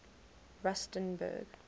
rusternburg